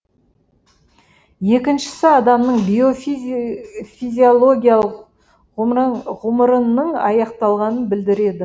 екіншісі адамның биофизиологиялық ғұмырының аяқталғанын білдіреді